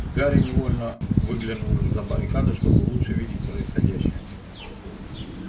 гарри невольно выглянул из-за баррикады чтобы лучше видеть происходящее